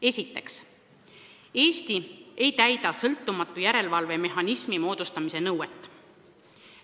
Esiteks, Eesti ei täida sõltumatu järelevalve mehhanismi loomise nõuet.